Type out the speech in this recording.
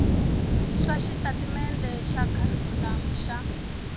swa xitatimendhe xa kharikhulamu xa